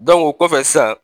Dɔnku o kɔfɛ sisan